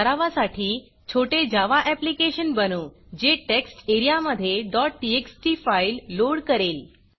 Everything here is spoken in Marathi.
सरावासाठी छोटे जावा ऍप्लिकेशन बनवू जे टेक्स्ट एरियामधे txt फाईल लोड करेल